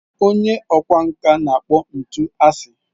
Onye ọkwá nkà na-akpọ ntu asị.